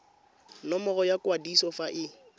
nomoro ya kwadiso fa e